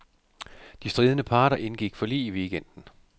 De stridende parter indgik forlig i weekenden.